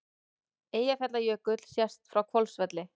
Eyjafjallajökull sést frá Hvolsvelli.